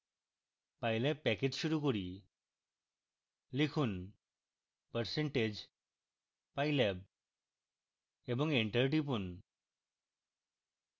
pylab package শুরু করি লিখুন percentage pylab এবং enter টিপুন